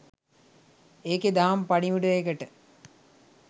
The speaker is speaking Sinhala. ඒකෙ දහම් පණිවුඩයකට